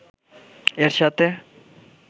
এর সাথে